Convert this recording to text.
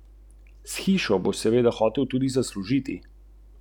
S kom na klopi?